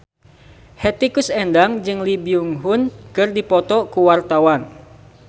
Hetty Koes Endang jeung Lee Byung Hun keur dipoto ku wartawan